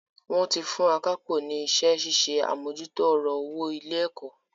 Wón ti fún akápò ní iṣẹ́ ṣíṣe àmójútó ọ̀rọ̀ owó ilé-ẹ̀kọ́.